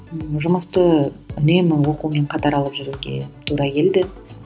ммм жұмысты үнемі оқумен қатар алып жүруге тура келді